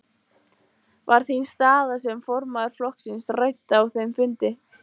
Var þín staða sem formaður flokksins rædd á þeim fundi?